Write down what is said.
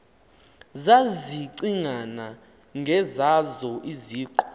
zazicinga ngezazo iziqu